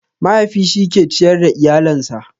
Mahaifi shi ke ciyar da iyalen sa